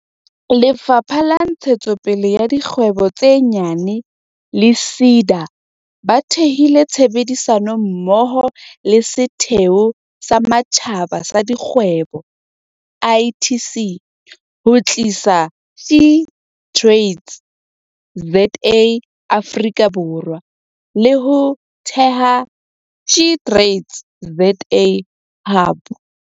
Lefapha la Ntshetsopele ya Dikgwebo tse Nyane le SEDA ba thehile tshebedisano mmoho le Setheo sa Matjhaba sa Dikgwebo, ITC, ho tlisa SheTradesZA Afrika Borwa, le ho theha SheTradesZA Hub.